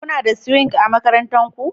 Kuna da Swing a makarantar ku?